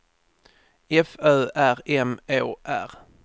F Ö R M Å R